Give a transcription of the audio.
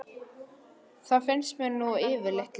Það finnst mér nú yfirleitt líka.